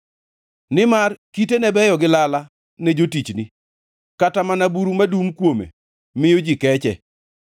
Nimar kitene beyo gi lala ne jotichni, kata mana buru madum kuome miyo ji keche.